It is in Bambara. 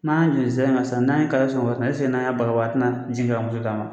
N'an y'a sisan n'an ye kaye ɛseke n'an y'a baro bɔ a tɛna jigin ka moto d'a ma